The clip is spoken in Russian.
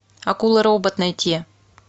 акула робот найти